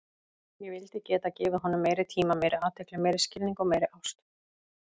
Ég vildi geta gefið honum meiri tíma, meiri athygli, meiri skilning og meiri ást.